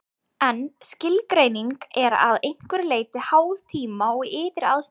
En skilgreiningin er að einhverju leyti háð tíma og ytri aðstæðum.